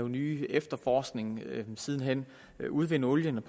ny efterforskning siden hen og udvinde olien